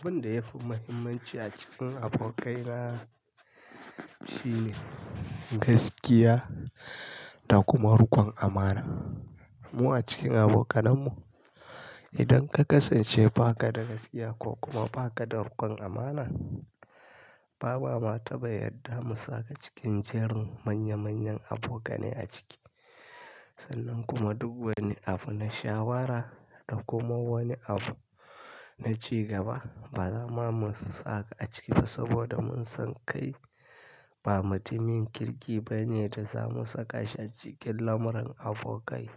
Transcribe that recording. Abin da yafi muhimmanci a cikin abokaina shine gaskiya da kuma rikon amana. Mu a cikin abokananmu, idan ka kasance ba ka da gaskiya ko kuma ba ka da rikon amana, ba ma mata ba yarda mu saka cikin jerin manya manyan abokane a ciki. Sannan kuma duk wani abu na shawara da kuma wani abu na cigaba, ba zama mu saka a ciki ba saboda mun san kai ba mutumin kirki ba ne da za mu saka shi a cikin lamuran abokai.